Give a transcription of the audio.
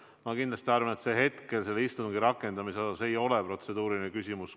Ma kindlasti arvan, et hetkel, kui käib istungi rakendamine, see ei ole protseduuriline küsimus.